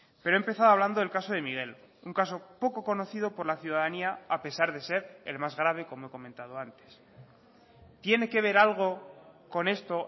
pero he empezado hablando del caso de miguel un caso poco conocido por la ciudadanía a pesar de ser el más grave como he comentado antes tiene que ver algo con esto